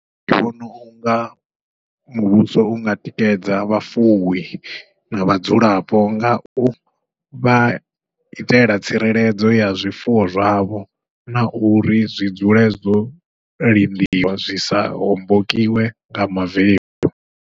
Ndi vhona unga muvhuso unga tikedza vhafuwi na vhadzulapo, ngau vha itela tsireledzo ya zwifuwo zwavho, na uri zwi dzule zwo lindiwa zwi sa hombokiwe nga mavemu.